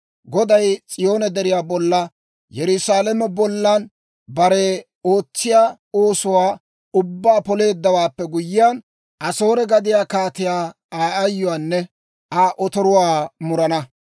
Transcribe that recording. Goday S'iyoone Deriyaa bollanne Yerusaalame bolla bare ootsiyaa oosuwaa ubbaa poleeddawaappe guyyiyaan, Asoore gadiyaa kaatiyaa Aa ayyuwaanne Aa otoruwaa murana.